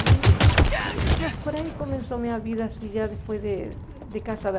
Aí, por aí começou minha vida, assim, já depois de de casada.